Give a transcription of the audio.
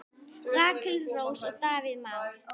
Rakel Rós og Davíð Már.